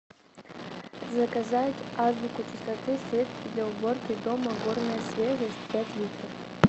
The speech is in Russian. заказать азбуку чистоты средство для уборки дома горная свежесть пять литров